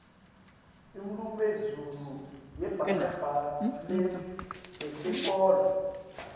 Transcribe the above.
indnumezulu yebahlabeleli bentenkholo